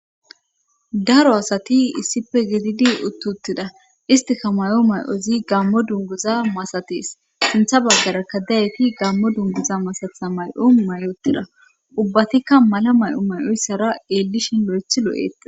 Daro asati issife gididi uttuttida istika may,o may7ozi gammo dunguza masatees sintha baggarakka dayti gammo dunguza masatha may7o may7otida ubbatikka mala may7o may7oyssara eellishin lo7ecthi lo7etia